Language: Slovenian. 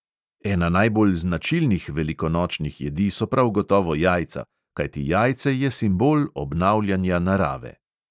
Ena najbolj značilnih velikonočnih jedi so prav gotovo jajca, kajti jajce je simbol obnavljanja narave.